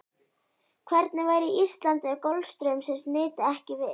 Hvernig væri Ísland ef golfstraumsins nyti ekki við?